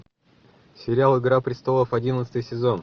сериал игра престолов одиннадцатый сезон